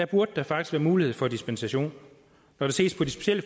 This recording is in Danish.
burde der faktisk være mulighed for dispensation når der ses på det specielle